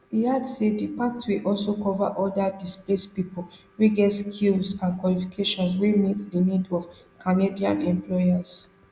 e add say di pathway also cover oda displaced pipo wey get skills and qualifications wey meet di needs of canadian employers